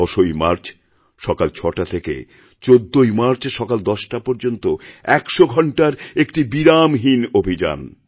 ১০ই মার্চ সকাল ৬টা থেকে ১৪ই মার্চ সকাল ১০টা পর্যন্ত ১০০ঘণ্টার একটি বিরামহীন অভিযান